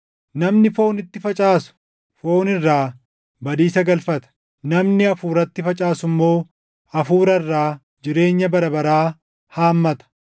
Namni foonitti facaasu foon irraa badiisa galfata; namni Hafuuratti facaasu immoo Hafuura irraa jireenya bara baraa haammata.